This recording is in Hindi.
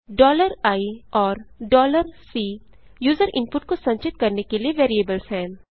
i और C यूजर इनपुट को संचित करने के लिए वेरिएबल्स हैं